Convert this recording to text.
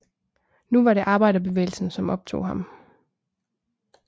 Nu var det arbejderbevægelsen som optog ham